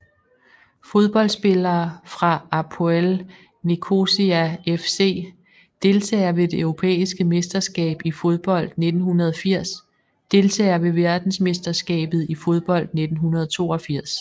Fodboldspillere fra APOEL Nicosia FC Deltagere ved det europæiske mesterskab i fodbold 1980 Deltagere ved verdensmesterskabet i fodbold 1982